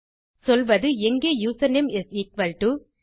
சொல்வது எங்கே username is equal to